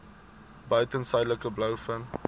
buiten suidelike blouvin